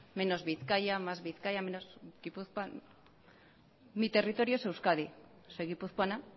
menos bizkaia más bizkaia menos gipuzkoa mi territorio es euskadi soy guipuzcoana